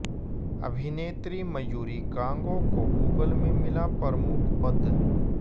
अभिनेत्री मयूरी कांगो को गूगल में मिला प्रमुख पद